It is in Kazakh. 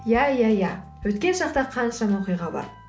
иә иә иә өткен шақта қаншама оқиға бар